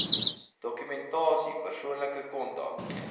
dokumentasie persoonlike kontak